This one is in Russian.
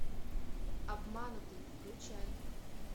обманутый включай